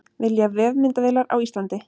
Vilja vefmyndavélar á Íslandi